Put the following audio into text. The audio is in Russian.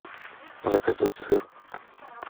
заказать сыр